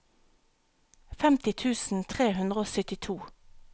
femti tusen tre hundre og syttito